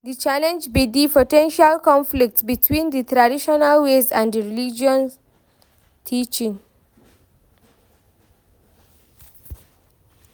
di challenge be di po ten tial conflict between di traditional ways and di religious teachings.